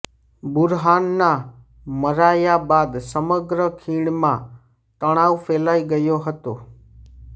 બુરહાનનાં મરાયા બાદ સમગ્ર ખીણમાં તણાવ ફેલાઇ ગયો હતો